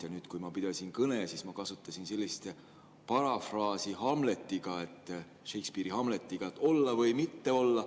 Ja nüüd, kui ma pidasin kõne, siis ma kasutasin sellist parafraasi Shakespeare'i "Hamleti" ainetel, et olla või mitte olla.